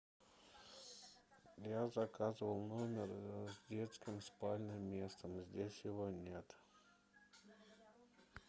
я заказывал номер с детским спальным местом здесь его нет